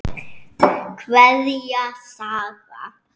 Kveðja, Saga.